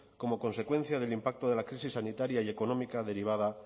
como consecuencia del impacto de la crisis sanitaria y económica derivada